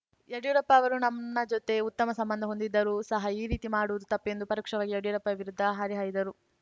ಯಡಿಯೂರಪ್ಪ ಅವರು ನನ್ನ ಜತೆ ಉತ್ತಮ ಸಂಬಂಧ ಹೊಂದಿದ್ದರೂ ಸಹ ಈ ರೀತಿ ಮಾಡುವುದು ತಪ್ಪು ಎಂದು ಪರೋಕ್ಷವಾಗಿ ಯಡಿಯೂರಪ್ಪ ವಿರುದ್ದ ಹರಿಹಾಯ್ದರು